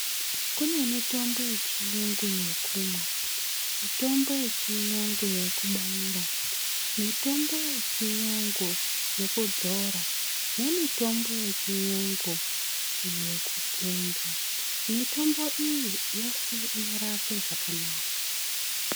Kune mitombo ye chiyungu yekumwa mitomo yechiyungu yeku baira mitombo yechiyungu yekudzora ne mitombo yechiyungu yeku tsenga mitombo iyi yose inorape zvakanaka.